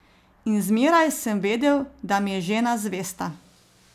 In zmeraj sem vedel, da mi je žena zvesta.